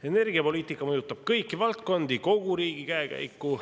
Energiapoliitika mõjutab kõiki valdkondi, kogu riigi käekäiku.